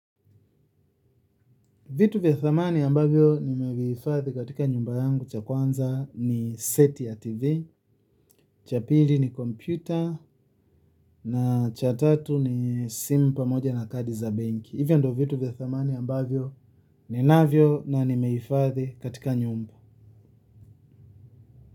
Vitu vya thamani ambavyo nimehifadhi katika nyumba yangu cha kwanza ni seti ya tv, cha pili ni kompyuta na cha tatu ni simu pamoja na kadi za benki. Hivyo ndio vitu vya thamani ambavyo ninavyo na nimehifadhi katika nyumba.